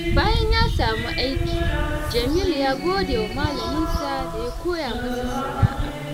Bayan ya samu aiki, Jamilu ya gode wa Malaminsa da ya koya masa sana’a.